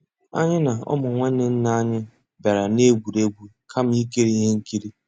Ànyị́ ná ụmụ́ nnwànné nná ànyị́ bìàrà ná-ègwúrí égwu kàmà ìkírí íhé nkírí.